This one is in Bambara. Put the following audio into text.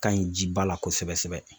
Ka ɲi jiba la kosɛbɛ sɛbɛ